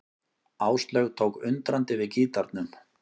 Áslaug tók undrandi við gítarnum.